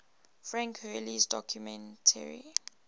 frank hurley's documentary